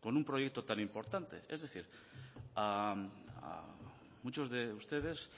con un proyecto tan importante es decir muchos de ustedes